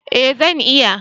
Eh zan iya